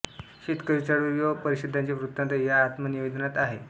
शेतकरी चळवळी व परिषदांचे वृत्तान्त या आत्मनिवेदनात आहेत